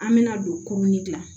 An bɛna don la